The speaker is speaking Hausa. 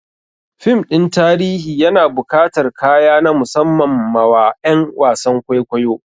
Fim ɗin tarihi yana bukatar kaya na musamman ma wa ƴan wasan kwaikwayo